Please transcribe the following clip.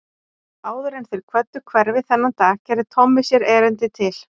Áður en þeir kvöddu hverfið þennan dag gerði Tommi sér erindi til